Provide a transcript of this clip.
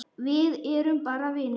Við erum bara vinir.